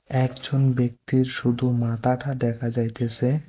একজন ব্যক্তির শুধু মাথাটা দেখা যাইতেছে।